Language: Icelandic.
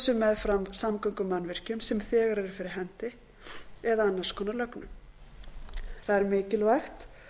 sem meðfram samgöngumannvirkjum sem þegar eru fyrir hendi eða annars konar lögnum það er mikilvægt